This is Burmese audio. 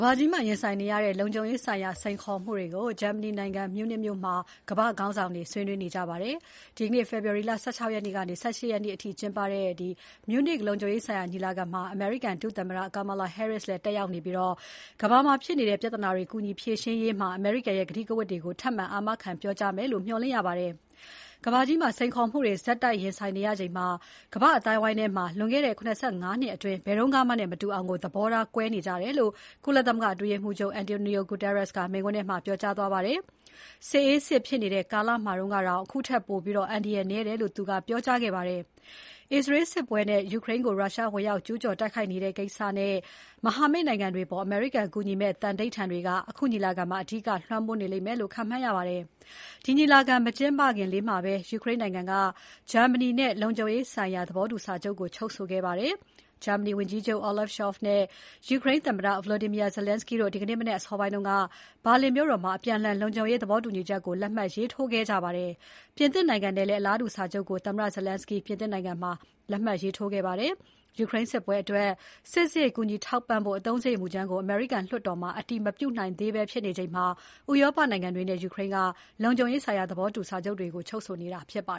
ဘာကြီးမှာ ရင်ဆိုင်နေရတဲ့ လုံခြုံရေးဆိုင်ရာ စိန်ခေါ်မှုတွေကို ဂျာမနီနိုင်ငံ မြူးနစ်မြို့မှာ ကမ္ဘာ့ခေါင်းဆောင်တွေ ဆွေးနွေးနေကြပါတယ်။ ဒီနေ့ ဖေဖော်ဝါရီ ၁၆ ကနေ ၁၈ ရက်နေ့အထိ ကျင်းပနေတဲ့ မြူးနစ်လုံခြုံရေးဆိုင်ရာညီလာခံမှာ အမေရိကန်ဒုသမ္မတ Kamala Harris တက်ရောက်နေပြီး ကမ္ဘာမှာဖြစ်နေတဲ့ ပြဿနာကြီးတွေ ကူညီဖြေရှင်းရေးမှာ အမေရိကန်ရဲ့ ကတိကဝတ်တွေကို ထပ်မံ အာမခံပြောကြားမယ်လို့ မျှော်လင့်ရပါတယ်။ ကမ္ဘာမှာ စိန်ခေါ်မှုတွေ ဆက်တိုက်ရင်ဆိုင်နေရချိန် ကမ္ဘာ့အသိုင်းအဝိုင်းမှာ လွန်ခဲ့တဲ့ ၇၅ နှစ်အတွင်း ဘယ်တုန်းကမှနဲ့ မတူအောင် သဘောထားကွဲနေကြတယ်လို့ ကုလမဂ္ဂအတွင်းရေးမှူးချုပ် António Guterres က မိန့်ခွန်းထဲမှာ ပြောကြားသွားပါတယ်။ စစ်အေးစစ်ဖြစ်နေတဲ့ကာလမှာတုန်းကတောင် အခုထက် ပိုပြီး အန္တရာယ်နည်းတယ်လို့ သူကပြောကြားခဲ့ပါတယ်။ အစ္စရေးစစ်ပွဲနဲ့ ယူကရိန်းကို ရုရှားဝင်ရောက်ကျူးကျော်နေတဲ့ကိစ္စနဲ့ မဟာမိတ်နိုင်ငံတွေအပေါ် အမေရိကန်ကူညီမယ့် သန္နိဋ္ဌာန်တွေက အခုညီလာခံမှာ အဓိက လွှမ်းမိုးနေမယ်လို့ ခန့်မှန်းရပါတယ်။ ဒီညီလာခံ မကျင်းပခင်လေးမှာပဲ ယူကရိန်းနိုင်ငံက ဂျာမနီနဲ့ လုံခြုံရေးဆိုင်ရာ သဘောတူစာချုပ် ချုပ်ဆိုခဲ့ပါတယ်။ ဂျာမနီဝန်ကြီးချုပ် Olaf Scholz နဲ့ ယူကရိန်းသမ္မတ Volodymyr Zelensky တို့ ဒီနေ့မနက် အစောပိုင်းက ဘာလင်မြို့တော်မှာ အပြန်အလှန် လုံခြုံရေးသဘောတူစာချုပ်ကို လက်မှတ်ရေးထိုးခဲ့ကြပါတယ်။ ပြင်သစ်နိုင်ငံနဲ့လည်း အလားတူစာချုပ်ကို သမ္မတ Zelensky ပြင်သစ်နိုင်ငံမှာ လက်မှတ်ရေးထိုးခဲ့ပါတယ်။ ယူကရိန်းစစ်ပွဲအတွက် စစ်စရိတ်ကူညီထောက်ပံ့ဖို့ အသုံးစရိတ်မူကြမ်းကို အမေရိကန်လွှတ်တော်မှာ အတည်မပြုနိုင်သေးဘဲဖြစ်နေချိန်မှာ ဥရောပနိုင်ငံတွေနဲ့ ယူကရိန်းက လုံခြုံရေးဆိုင်ရာ သဘောတူညီစာချုပ်တွေ ချုပ်ဆိုနေတာဖြစ်ပါ